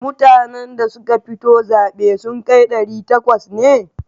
Mutanen da suka fito zaɓe sun kai ɗari takwas ne?